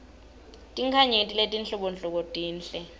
tinkhanyeti letinhlobonhlobo tinhle